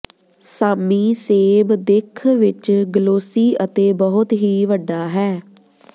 ਸਾਮੀ ਸੇਬ ਦਿੱਖ ਵਿਚ ਗਲੋਸੀ ਅਤੇ ਬਹੁਤ ਹੀ ਵੱਡਾ ਹੈ